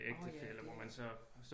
Orh ja det